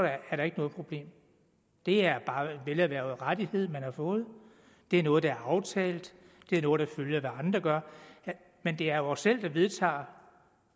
er der ikke noget problem det er bare en velerhvervet rettighed man har fået det er noget der er aftalt det er noget der følger af hvad andre gør men det er jo os selv der vedtager